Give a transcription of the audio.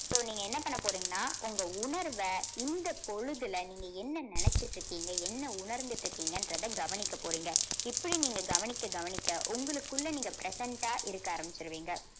so நீங்க என்ன பண்ண போறீங்கன்னா உங்க உணர்வ இந்த பொழுதுல நீங்க என்ன நினைச்சுட்டு இருக்கீங்க என்ன உணர்ந்துட்டு இருக்கீங்கன்றதை கவனிக்க போறீங்க இப்படி நீங்க கவனிக்க கவனிக்க உங்களுக்குள்ள நீங்க present ஆ இருக்க ஆரம்பிச்சுருவீங்க